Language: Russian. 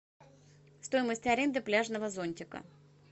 стоимость аренды пляжного зонтика